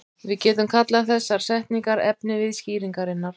Við getum kallað þessar setningar efnivið skýringarinnar.